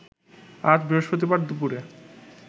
আজ বৃহস্পতিবার দুপুরে